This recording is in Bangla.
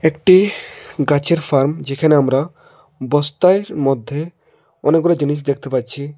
একটি গাছের ফার্ম যেখানে আমরা বস্তায় মধ্যে অনেকগুলো জিনিস দেখতে পাচ্ছি।